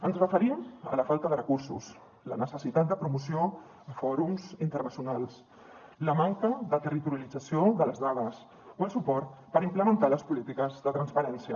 ens referim a la falta de recursos la necessitat de promoció a fòrums internacionals la manca de territorialització de les dades o el suport per implementar les polítiques de transparència